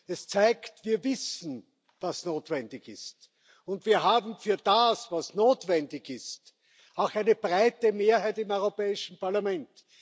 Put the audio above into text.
Das zeigt Wir wissen, was notwendig ist, und wir haben für das, was notwendig ist, auch eine breite Mehrheit im Europäischen Parlament.